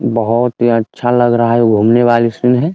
बहुत ही अच्छा लग रहा है घूमने वाली इसमें ।